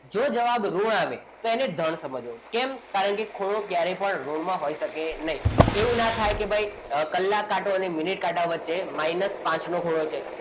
જો જવાબ ઋણ આવે તો તેને ધન સમજવો કેમ કારણ કે ખૂણો ક્યારે ઋણમાં હોઈ શકે નહીં એવું ના થાય કે કલાક કાંટો અને મિનિટ કાંટો વચ્ચે minus પાંચ નો ખૂણો છે.